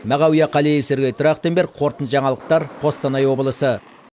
мағауия қалиев сергей трахтенберг қорытынды жаңалықтар қостана облысы